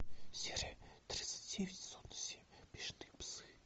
серия тридцать девять сезон семь бешеные псы